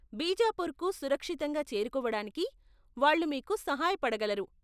బీజాపుర్కు సురక్షితంగా చేరుకోవడానికి వాళ్ళు మీకు సహాయపడగలరు.